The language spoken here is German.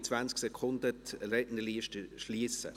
Ich werde in 20 Sekunden die Rednerliste schliessen.